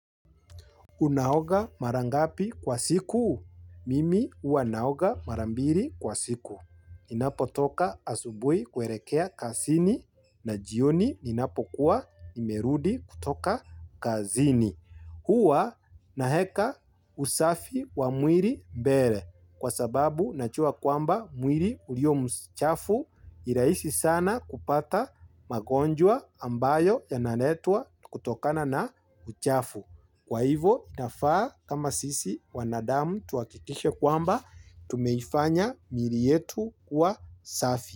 Unaoga mara ngapi kwa siku? Mimi huwa naoga mara mbili kwa siku. Ninapotoka asubuhi kuelekea kazini na jioni ninapokuwa nimerudi kutoka kazini. Huwa naeka usafi wa mwili mbele kwa sababu najua kwamba mwili uliyo mchafu ni rahisi sana kupata magonjwa ambayo yanaletwa kutokana na uchafu. Kwa hivo itafaa kama sisi wanadamu tuhakikishe kwamba tumeifanya mili yetu kuwa safi.